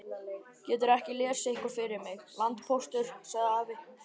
Geturðu ekki lesið eitthvað fyrir mig, landpóstur, sagði afi.